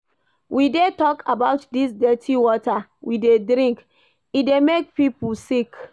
We dey tok about dis dirty water we dey drink, e dey make pipo sick.